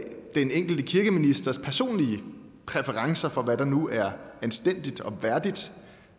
enkelte kirkeministers personlige præferencer for hvad der nu er anstændigt og værdigt